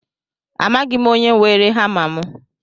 Amaghị m onye weere hama mụ